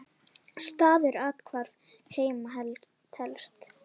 Staður athvarf heima telst.